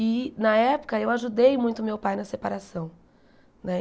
E, na época, eu ajudei muito meu pai na separação né.